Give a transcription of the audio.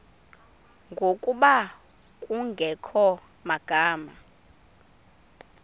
ngokuba kungekho magama